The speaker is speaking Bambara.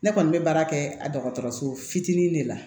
Ne kɔni bɛ baara kɛ dɔgɔtɔrɔso fitinin de la